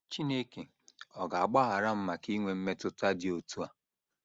‘ Chineke Ọ̀ Ga - agbaghara M Maka Inwe Mmetụta Dị Otú A? ’